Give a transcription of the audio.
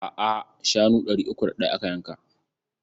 A'a, shanu ɗari uku da ɗaya aka yanka.